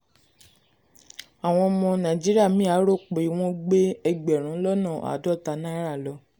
àwọn ọmọ naijiria mí à rò pé wọ́n gbé ẹgbẹ̀rún lọ́nà àádọ́ta náírà lọ